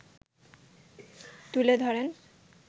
তুলে ধরেন